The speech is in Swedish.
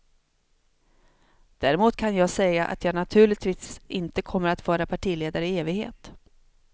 Däremot kan jag säga att jag naturligtvis inte kommer att vara partiledare i evighet.